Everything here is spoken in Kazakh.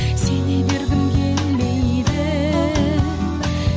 сене бергім келмейді